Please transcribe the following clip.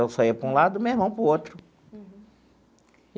Eu saia para um lado e o meu irmão para o outro.